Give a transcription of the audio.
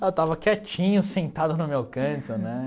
Eu estava quietinho, sentado no meu canto né.